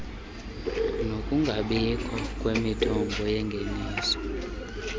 nokungabikho kwemithombo yengeniso